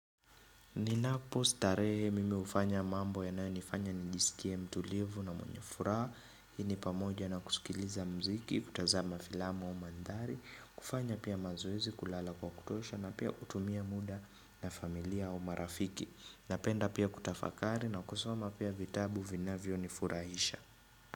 Ninapostarehe mimi hufanya mambo yanayonifanya nijisikie mtulivu na mwenye furaha Hii ni pamoja na kusikiliza muziki, kutazama filamu au mandhari, kufanya pia mazoezi, kulala kwa kutosha na pia kutumia muda na familia au marafiki. Napenda pia kutafakari na kusoma pia vitabu vinavyonifurahisha.